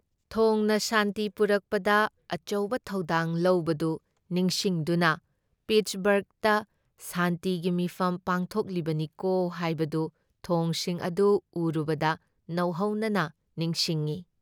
ꯊꯣꯡꯅ ꯁꯥꯟꯇꯤ ꯄꯨꯔꯛꯄꯗ ꯑꯆꯧꯕ ꯊꯧꯗꯥꯡ ꯂꯧꯕꯗꯨ ꯅꯤꯡꯁꯤꯡꯗꯨꯅ ꯄꯤꯠꯁꯕꯔꯒꯇ ꯁꯥꯟꯇꯤꯒꯤ ꯃꯤꯐꯝ ꯄꯥꯡꯊꯣꯛꯂꯤꯕꯅꯤꯀꯣ ꯍꯥꯏꯕꯗꯨ ꯊꯣꯡꯁꯤꯡ ꯑꯗꯨ ꯎꯔꯨꯕꯗ ꯅꯧꯍꯧꯅ ꯅꯤꯡꯁꯤꯡꯏ ꯫